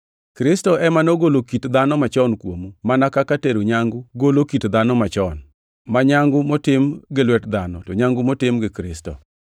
Kristo ema nogolo kit dhano machon kuomu mana kaka tero nyangu golo kit dhano machon, ma nyangu motim gi lwet dhano, to nyangu motim gi Kristo.